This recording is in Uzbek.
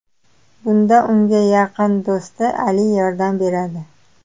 Bunda unga yaqin do‘sti Ali yordam beradi.